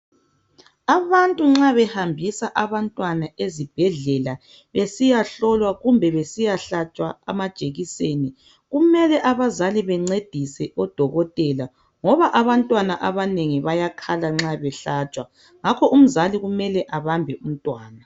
Abantu nxa behambisa abantwana ezibhedlela besiyahlolwa kumbe besiyahlatshwa ezibhedlela, kumele abazali bencedise odokotela ngoba abantwana abanengi bayakhala nxa behlatshwa. Ngakho umzali kumele abambe umntwana.